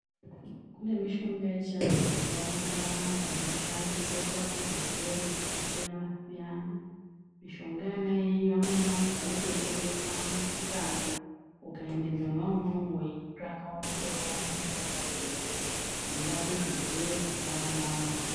Kune mishonga yechivantu yakawanda wanda inoshandiswa kurape zvirwere zvakasiyana siyana. Mishonga iyeyi amweni wandu vanoitengesa mumisikamwo ukaende mwona imomo weitsvaka unotoiwana mishonga iyoyoyo inorapa zvirwere zvakawanda wanda